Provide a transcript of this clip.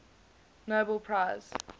nobel prize